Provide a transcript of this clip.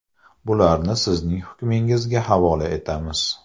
Bularni sizning hukmingizga havola etamiz.